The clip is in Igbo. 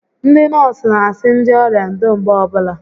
Ndị nọọsụ n'asị ndị ọrịa ndo mgbe ọbụla